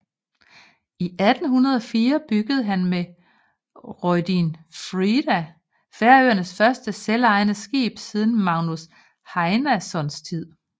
I 1804 byggede han med Royndin Fríða Færøernes første selvejede skib siden Magnus Heinasons tid